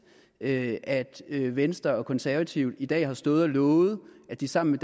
at at venstre og konservative i dag har stået og lovet at de sammen